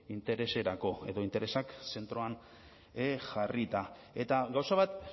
intereserako edo interesak zentroan jarrita eta gauza bat